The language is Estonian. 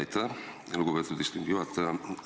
Aitäh, lugupeetud istungi juhataja!